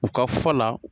U ka fɔ la